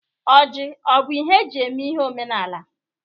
Ọjị ọbụ ihe eji eme ihe omenaala?